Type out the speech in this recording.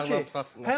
Sol ayaqla çıxartdı.